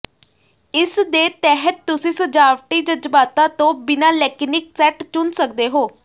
ਇਸਦੇ ਤਹਿਤ ਤੁਸੀਂ ਸਜਾਵਟੀ ਜਜ਼ਬਾਤਾਂ ਤੋਂ ਬਿਨਾਂ ਲੈਕਿਨਿਕ ਸੈਟ ਚੁਣ ਸਕਦੇ ਹੋ